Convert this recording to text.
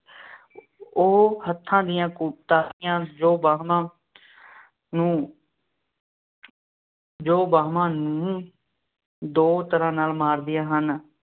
ਉਹ ਹੱਥਾਂ ਦੀਆਂ ਕੁ ਤਾੜੀਆਂ, ਜੋ ਬਾਹਾਂ ਨੂੰ ਜੋ ਬਾਂਹਾਂ ਨੂੰ ਦੋ ਤਰ੍ਹਾਂ ਨਾਲ ਮਾਰੀਆਂ ਹਨ,